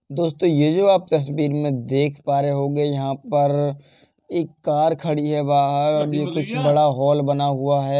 दोस्तों ये जो आप तस्वीर में देख पा रहे होंगे यहाँ पर एक कार खड़ी है बाहर और ये कुछ बड़ा हॉल बना हुआ है।